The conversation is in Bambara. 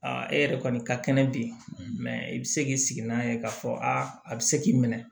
e yɛrɛ kɔni ka kɛnɛ bi mɛ i bi se k'i sigi n'a ye k'a fɔ aa a bɛ se k'i minɛ